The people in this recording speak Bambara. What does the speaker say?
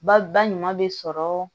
Ba ba ɲuman bɛ sɔrɔ